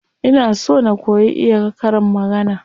Ina so na koyi iya karin magana.